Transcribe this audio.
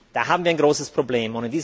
Da haben wir ein großes Problem.